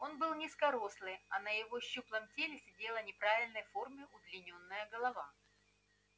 он был низкорослый а на его щуплом теле сидела неправильной формы удлинённая голова